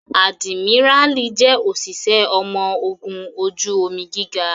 Adimirali jẹ́ òṣìṣẹ́ ọmọ ogun ojú omi gíga